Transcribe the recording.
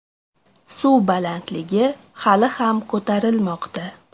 Suv balandligi hali ham ko‘tarilmoqda.